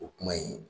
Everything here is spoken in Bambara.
O kuma in